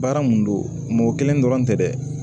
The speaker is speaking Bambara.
Baara mun don mɔgɔ kelen dɔrɔn tɛ dɛ